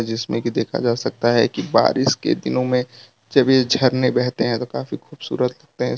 जिसमें कि देखा जा सकता है की बारिश के दिनों में जब ये झरने बहते हैं तो काफी खूबसूरत ते हैं स् --